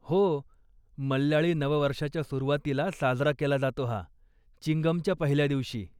हो, मल्याळी नववर्षाच्या सुरुवातीला साजरा केला जातो हा, चिंगमच्या पहिल्या दिवशी.